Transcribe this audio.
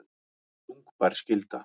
Þungbær skylda